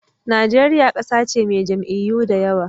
Najeriya ƙasa ce mai jam'iyyu da yawa.